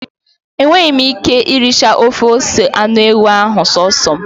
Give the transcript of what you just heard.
Enweghi m Ike iricha ofe ose anu ewu ahu so so m